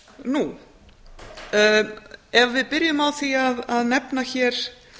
nú ef við byrjum á því að nefna hér